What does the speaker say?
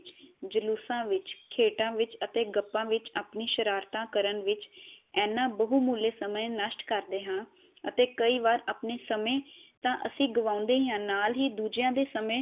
ਜਲੂਸਾ ਵਿਚ ਖੇਡਾ ਵਿਚ ਅਤੇ ਗੱਪਾ ਵਿਚ ਆਪਣੀ ਸ਼ਰਾਰਤਾ ਕਰਨ ਵਿਚ ਏਨਾ ਬਹੁਮੁਲੀ ਸਮਾ ਨਸ਼ਟ ਕਰਦੇ ਹਾਂ ਅਤੇ ਕਈ ਵਾਰ ਆਪਣੇ ਸਮੇ ਤਾ ਐਸੀ ਗਵਾਉਂਦੇ ਹੀ ਹਾਂ ਨਾਲ ਹੀ ਦੂਜਿਆ ਦੇ ਸਮੇ